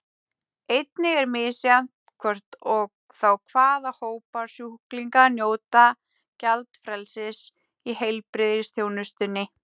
Einnig er misjafnt hvort og þá hvaða hópar sjúklinga njóta gjaldfrelsis í heilbrigðisþjónustunni.